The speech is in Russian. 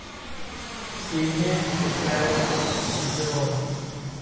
ксения михайловна кучерова